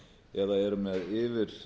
eða eru með yfir